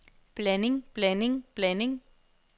blanding blanding blanding